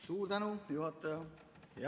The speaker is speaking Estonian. Suur tänu, juhataja!